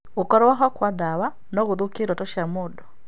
Gũkorwo ho kwa ndawa no gũthũkie irooto cia mũndũ.